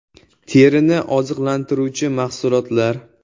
Terini oziqlantiruvchi mahsulotlar.